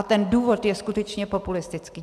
A ten důvod je skutečně populistický.